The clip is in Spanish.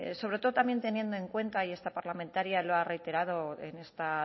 sobre todo también teniendo en cuenta y esta parlamentaria lo ha reiterado en esta